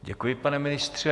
Děkuji, pane ministře.